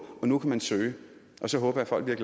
og nu kan man søge og så håber jeg folk